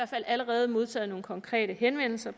fald allerede modtaget nogle konkrete henvendelser